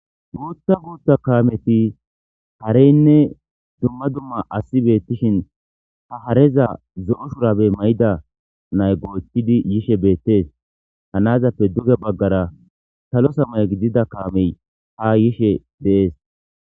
Guththa guththa kammeththi haareynne dumma dumma aasi beththishin ha haareza zoo shurabe mayida naay gochchidi yishshe bettess ha nazappe dugge baagara sallo samaye gidiza kaamey ha yishshie deess.